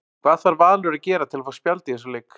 Hvað þarf Valur að gera til að fá spjald í þessum leik?